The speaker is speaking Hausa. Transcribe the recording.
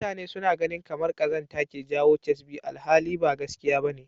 Mutane suna ganin kamar ƙazanta ke jawo ƙyasbi alhali ba gaskiya ba ne.